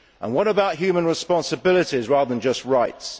What about human responsibilities rather than just rights?